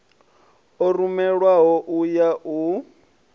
o rumelwaho u ya u